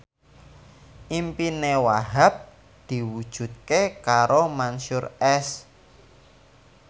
impine Wahhab diwujudke karo Mansyur S